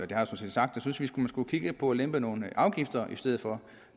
set sagt synes jeg man skulle kigge på at lempe nogle afgifter i stedet for